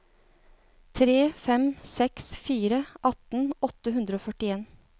tre fem seks fire atten åtte hundre og førtien